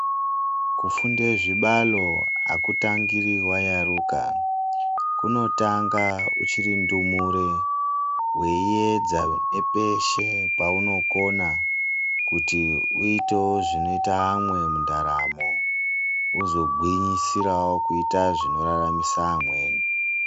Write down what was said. Kufunda zvibalo akutandiri wayaruka kunotanga uchiri ndumure waiedza nepeshe paunokona kuti uitewo zvinoita vamwe mundaramo uzogwinyisirawo kuita zvinoraramisa amweni.